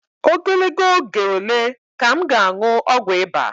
Ogologo oge ole ka m ga-aṅụ ọgwụ ịba?